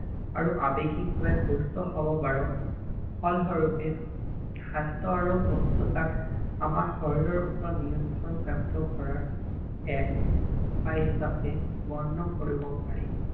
আৰু আবেগিক ভাবে সুস্থ হব পাৰো ফলস্বৰূপে স্বাস্থ্য আৰু সুস্থ তাক আমাৰ শৰীৰৰ ওপৰত নিয়ন্ত্ৰণ কাৰ্য্য কৰাৰ এক উপায় হিচাপে বৰ্ণ কৰিব পাৰি